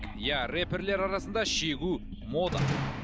иә рэперлер арасында шегу мода